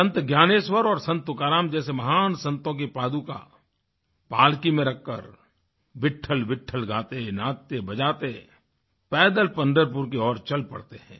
संत ज्ञानेश्वर और संत तुकाराम जैसे महान संतों की पादुका पालकी में रखकर विट्ठलविट्ठल गाते नाचते बजाते पैदल पंढरपुर की ओर चल पड़ते हैं